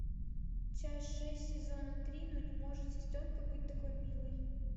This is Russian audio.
часть шесть сезона три ну не может сестренка быть такой милой